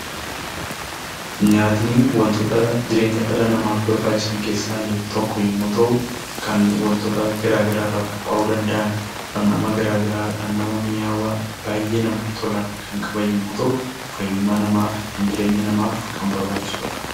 Nyaatni wantoota jireenya dhala namaaf barbaachisan keessaa tokko yommuu ta'u, kan wantoota garaa garaa irraa qophaa'uu danda'an, dhamdhama garaa garaa, dhamdhama minyaawaa baay'ee namatti tolan kan qaban yommuu ta'u, fayyummaa namaaf, ittiin jireenya namaaf kan barbaachisudha.